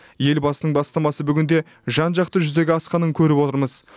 елбасының бастамасы бүгінде жан жақты жүзеге асқанын көріп отырмыз